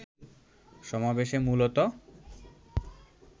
সমাবেশে মূলত